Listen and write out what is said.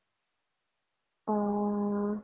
অ